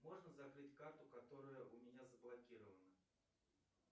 можно закрыть карту которая у меня заблокирована